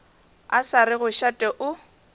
a sa rego šate o